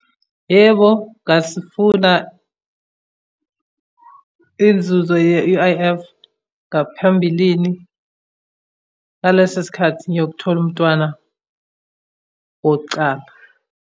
Yebo, ngasifuna inzuzo ye-U_I_F, ngaphambilini ngaleso sikhathi ngiyothola umntwana wokucala.